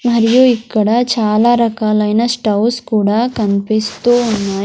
మరియు ఇక్కడ చాలా రకాలైన స్టౌవ్స్ కూడా కనిపిస్తూ ఉన్నాయి.